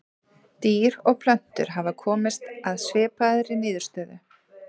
Dýr og plöntur hafa komist að svipaðri niðurstöðu.